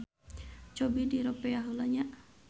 Cobi diropea heula nya.